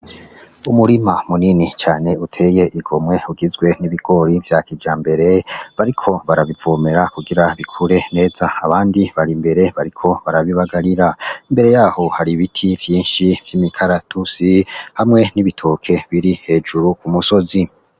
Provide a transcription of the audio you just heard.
Umurima munini cane uteye igomwe ugizwe n'ibigori vya kija mbere bariko barabivumera kugira bikure neza abandi bari imbere bariko barabibagarira mbere yaho hari ibiti vyinshi vy'imikaratusi hamwe n'ibitoke biri hejuru ku musozi.